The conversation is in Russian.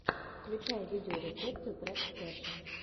включи видеорецепты врекстэшен